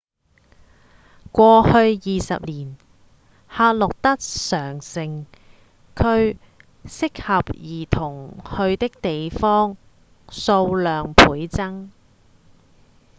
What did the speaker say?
過去20年夏洛特上城區適合兒童去的地方數量倍增